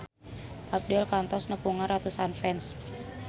Abdel kantos nepungan ratusan fans